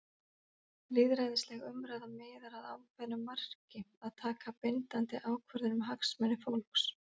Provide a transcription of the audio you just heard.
Lýðræðisleg umræða miðar að ákveðnu marki- að taka bindandi ákvörðun um hagsmuni fólks.